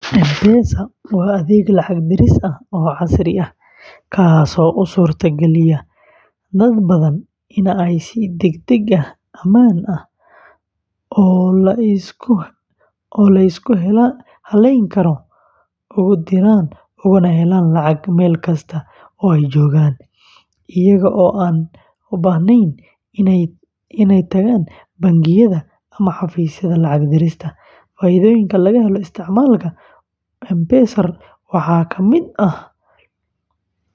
M-Pesa waa adeeg lacag-diris ah oo casri ah, kaasoo u suurta galiyay dad badan inay si degdeg ah, ammaan ah, oo la isku halleyn karo ugu diraan ugana helaan lacag meel kasta oo ay joogaan, iyaga oo aan u baahnayn inay tagaan bangiyada ama xafiisyada lacag dirista. Faa’iidooyinka laga helo isticmaalka M-Pesa waxaa ka mid ah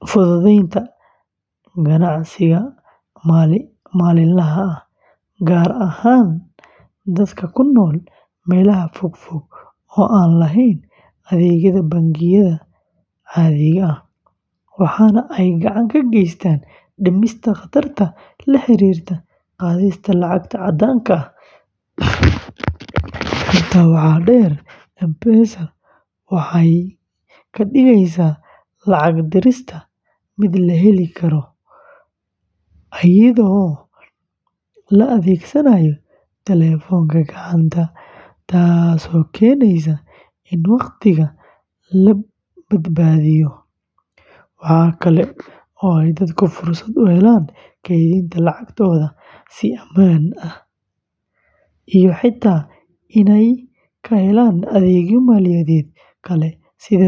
fududeynta ganacsiga maalinlaha ah, gaar ahaan dadka ku nool meelaha fogfog oo aan lahayn adeegyada bangiyada caadiga ah, waxaana ay gacan ka geysaneysaa dhimista khataraha la xiriira qaadista lacag caddaan ah. Intaa waxaa dheer, M-Pesa waxay ka dhigaysaa lacag dirista mid la heli karo, iyadoo la adeegsanayo taleefanka gacanta, taasoo keeneysa in waqtiga la badbaadiyo. Waxa kale oo ay dadku fursad u helaan kaydinta lacagtooda si ammaan ah, iyo xitaa inay ka helaan adeegyo maaliyadeed kale sida deyn.